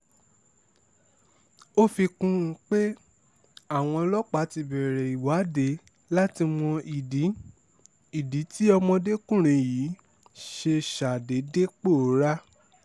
ó fi kún un pé àwọn ọlọ́pàá ti bẹ̀rẹ̀ ìwádìí láti mọ ìdí ìdí tí ọmọdékùnrin yìí ṣe ṣàdédé pòórá